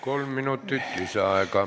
Kolm minutit lisaaega.